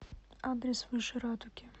адрес выше радуги